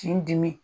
K'i dimi